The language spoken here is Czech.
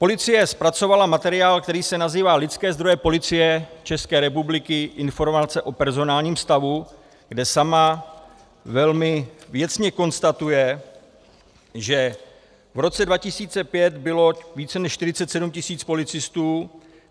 Policie zpracovala materiál, který se nazývá Lidské zdroje Policie České republiky, Informace o personálním stavu , kde sama velmi věcně konstatuje, že v roce 2005 bylo více než 47 tisíc policistů.